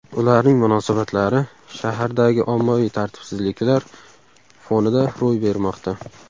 Ularning munosabatlari shahardagi ommaviy tartibsizliklar fonida ro‘y bermoqda.